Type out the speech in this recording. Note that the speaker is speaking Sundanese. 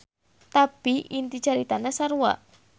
Tapi inti caritana sarua.